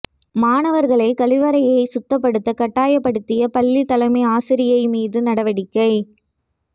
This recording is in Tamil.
மாணவர்களை கழிவறையை சுத்தப்படுத்த கட்டாயப்படுத்திய பள்ளி தலைமை ஆசிரியை மீது நடவடிக்கை